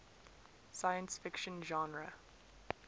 science fiction genre